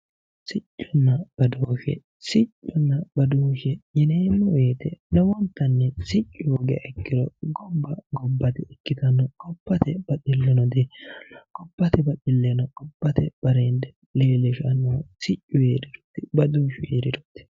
sicconna badooshshe yineemmo woyite lowonttanni siccu hoogiriha ikkiro gabba gobba di ikkittanno gobbate baxillinno di heeranno gobbate axilenna gobbate bareende leellishannohu siccu heerirooti